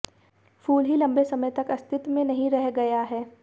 फूल ही लंबे समय तक अस्तित्व में नहीं रह गया है